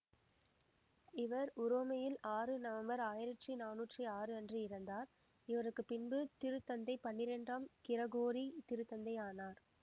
இவர் உரோமையில் ஆறு நவம்பர் ஆயிரத்தி நானூற்றி ஆறு அன்று இறந்தார் இவருக்குப்பின்பு திருத்தந்தை பன்னிரண்டாம் கிரகோரி திருத்தந்தையானார்